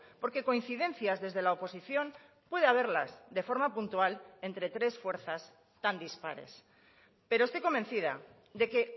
porque coincidencias desde la oposición puede haberlas de forma puntual entre tres fuerzas tan dispares pero estoy convencida de que